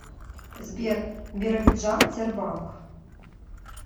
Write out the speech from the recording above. сбер биробиджан тербанк